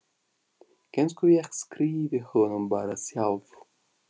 Kannski ég skrifi honum bara sjálf.